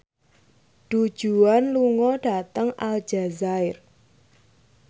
Du Juan lunga dhateng Aljazair